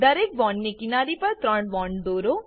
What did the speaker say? દરેક બોન્ડની કિનારી પર ત્રણ બોન્ડ દોરો